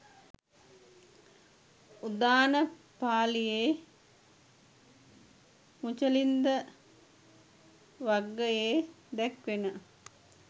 උදාන පාලියේ මුචලින්ද වග්ගයේ දැක්වෙන